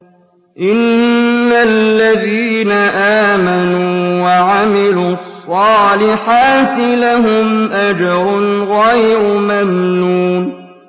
إِنَّ الَّذِينَ آمَنُوا وَعَمِلُوا الصَّالِحَاتِ لَهُمْ أَجْرٌ غَيْرُ مَمْنُونٍ